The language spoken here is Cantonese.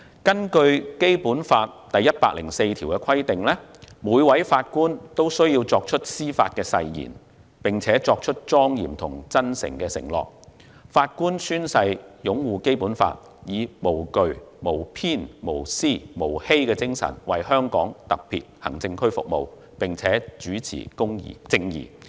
根據《基本法》第一百零四條，每位法官均須作出司法誓言，並作出莊嚴和真誠的承諾；法官宣誓擁護《基本法》，以"無懼、無偏、無私、無欺"之精神為香港特別行政區服務，並主持正義。